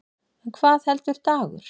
En hvað heldur Dagur?